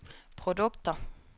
produkter